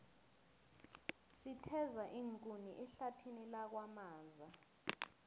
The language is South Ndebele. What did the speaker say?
sitheza iinkuni ehlathini lakwamaza